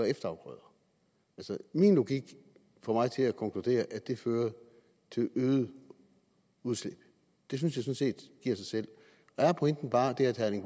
efterafgrøder min logik får mig til at konkludere at det fører til øget udslip det synes jeg sådan set giver sig selv der er pointen bare det at herre